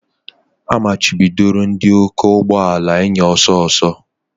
A machibidoro ndị ọkwọ ụgbọ ala ịnya ọsọ ọsọ